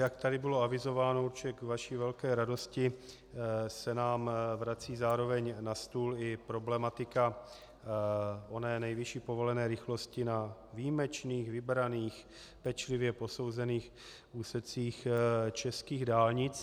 Jak tady bylo avizováno, určitě k vaší velké radosti se nám vrací zároveň na stůl i problematika oné nejvyšší povolené rychlosti na výjimečných, vybraných, pečlivě posouzených úsecích českých dálnic.